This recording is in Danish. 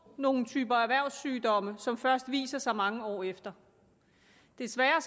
nogle typer erhvervssygdomme som først viser sig mange år efter desværre